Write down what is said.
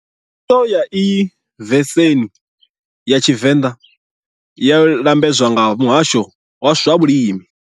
Khandiso ya iyi vesenhi ya Tshivenda yo lambedzwa nga Muhasho wa swa Vhulimi.